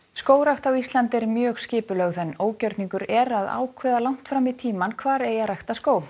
skógrækt á Íslandi er mjög skipulögð en ógjörningur er að ákveða langt fram í tímann hvar eigi að rækta skóg